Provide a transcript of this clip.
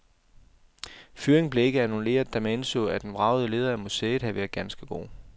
Fyringen blev ikke annulleret, da man indså, at den vragede leder af museet havde været ganske god.